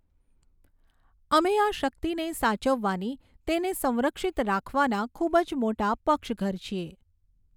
અમે આ શક્તિને સાચવવાના, તેને સંરક્ષિત રાખવાના ખૂબ જ મોટા પક્ષઘર છીએ.